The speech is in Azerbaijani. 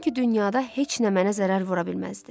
Sankı dünyada heç nə mənə zərər vura bilməzdi.